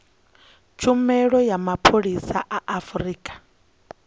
tshumelo ya mapholisa a afurika